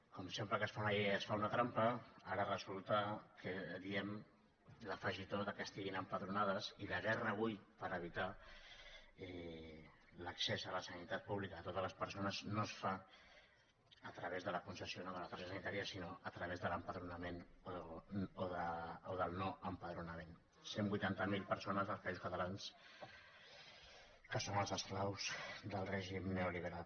com sempre que es fa una llei es fa una trampa ara resulta que diem l’afegitó que estiguin empadronades i la guerra avui per evitar l’accés a la sanitat pública a totes les persones no es fa a través de la concessió o no de la targeta sanitària sinó a través de l’empadronament o del no empadronament cent i vuitanta miler persones dels països catalans que són els esclaus del règim neoliberal